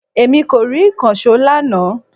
Èmi kò rí ìkànsó lánàá